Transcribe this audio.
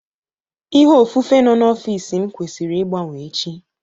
Ihe ofufe nọ n'ọfịs m kwesịrị ịgbanwee echi